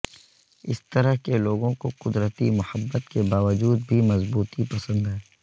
اس طرح کے لوگوں کو قدرتی محبت کے باوجود بھی مضبوطی پسند ہے